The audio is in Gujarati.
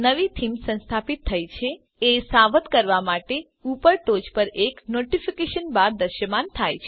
નવી થીમ સંસ્થાપિત થઇ છે એ સાવધ કરવા માટે ઉપર ટોંચ પર એક નોટિફિકેશન બાર દ્રશ્યમાન થશે